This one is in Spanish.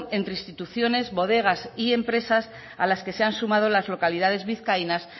entre instituciones bodegas y empresas a las que se han sumado las localidades vizcaínas